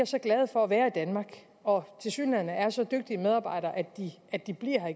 så glade for at være i danmark og tilsyneladende er så dygtige medarbejdere at de bliver her